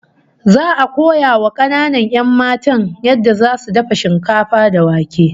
Za'a koya wa kananan 'yan matan yadda zasu dafa shinkafa da wake